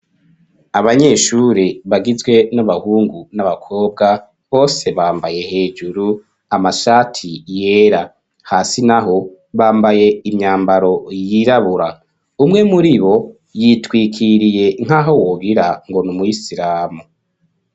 Abanyeshuri bagizwe n'abahungu n'abakobwa bose bambaye hejuru amashati yera hasi naho bambaye imyambaro yirabura. Umwe muri bo yitwikiriye nk'aho wogirango n' umurisiramu.